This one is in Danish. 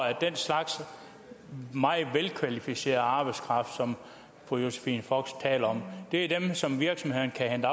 at den slags meget velkvalificeret arbejdskraft som fru josephine fock taler om er dem som virksomhederne kan